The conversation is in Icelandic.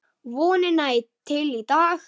Vonina til í dag.